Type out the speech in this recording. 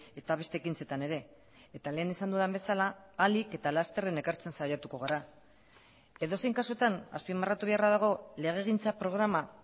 eta beste ekintzetan ere eta lehen esan dudan bezala ahalik eta lasterren ekartzen saiatuko gara edozein kasutan azpimarratu beharra dago legegintza programa